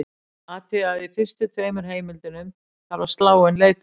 Athugið að í fyrstu tveimur heimildunum þarf að slá inn leitarorð.